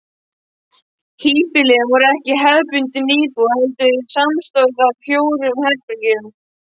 Híbýlin voru ekki hefðbundin íbúð heldur samanstóðu af fjórum herbergjum.